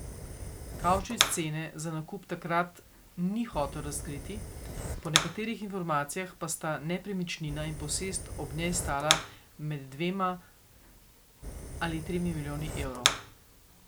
Kavčič cene za nakup takrat ni hotel razkriti, po nekaterih informacijah pa sta nepremičnina in posest ob njej stala med dvema in tremi milijoni evrov.